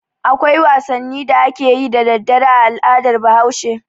Akwai wasannin da ake yi da dare a al'adar Bahaushe.